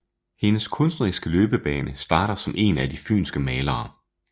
Hendes kunstneriske løbebane starter som en af de fynske malere